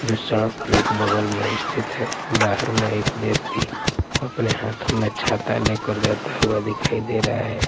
जो सड़क के एक बगल में स्थित हैं बाहर में एक व्यक्ति अपने हाथों में छाता लेकर जाता हुआ दिखाई दे रहा हैं ।